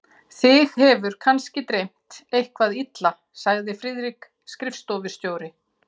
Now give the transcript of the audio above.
Þig hefur kannski dreymt eitthvað illa, sagði Friðrik skrifstofustjóri.